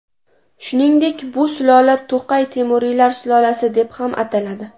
Shuningdek, bu sulola To‘qay temuriylar sulolasi deb ham ataladi.